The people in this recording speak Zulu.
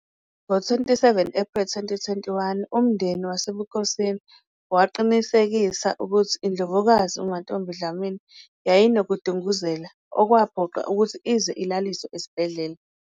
Ngo-27 April 2021, umndeni wasebukhosini waqinisekisa ukuthi iNdlovukazi uMantfombi Dlamini yayinokudunguzela okwaphoqa ukuthi ize ilaliswe esibhedlela.